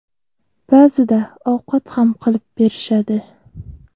Ba’zida ovqat ham qilib berishadi.